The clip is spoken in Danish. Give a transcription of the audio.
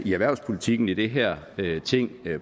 i erhvervspolitikken i det her ting